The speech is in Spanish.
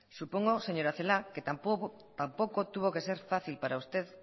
supongo señora celaá que tampoco tuvo que ser fácil para usted